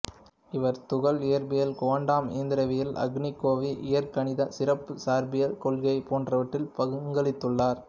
இவர் துகள் இயற்பியல் குவாண்டம் இயந்திரவியல் அணிக்கோவை இயற்கணிதம் சிறப்புச் சார்பியல் கொள்கை போன்றவற்றில் பங்களித்துள்ளார்